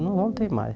Eu não voltei mais.